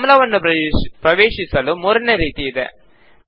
ಫಾರ್ಮುಲಾವನ್ನು ಪ್ರವೇಶಿಸಲು ಮೂರನೇ ರೀತಿ ಇದೆ